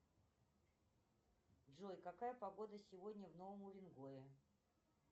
джой какая погода сегодня в новом уренгое